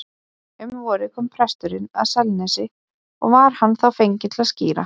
Um vorið kom presturinn að Selnesi og var hann þá fenginn til að skíra.